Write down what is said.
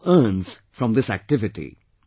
He also earns from this activity